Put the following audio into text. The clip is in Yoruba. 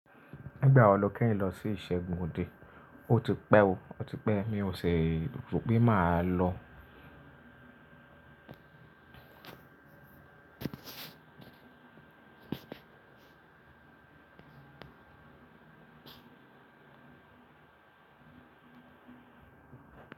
Nígbà wo ni o kẹ́yin lọ sí ìṣẹ́gun òde? Ó ti pẹ́ o, ó ti pẹ́ mi ò sì rò pé máa lọ.